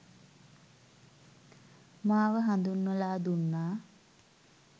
මාව හඳුන්වලා දුන්නා.